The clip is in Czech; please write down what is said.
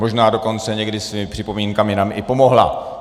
Možná dokonce někdy svými připomínkami nám i pomohla.